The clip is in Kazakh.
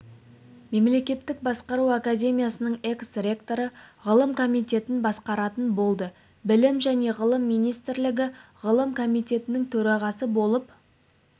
мемлекеттік басқару академиясының экс-ректоры ғылым комитетін басқаратын болды білім және ғылым министрлігі ғылым комитетінің төрағасы болып